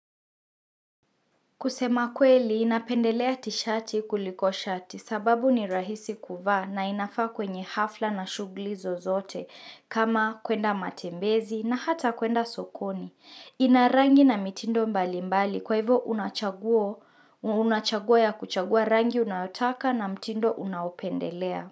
Kusema kweli, napendelea tishati kuliko shati sababu ni rahisi kuvaa na inafaa kwenye hafla na shughuli zozote kama kuenda matembezi na hata kwenda sokoni. Ina rangi na mitindo mbali mbali kwa hivo una chaguo una chago ya kuchagua rangi unayotaka na mtindo unaopendelea.